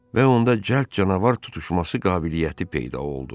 Və onda cəld canavar tutuşması qabiliyyəti peyda oldu.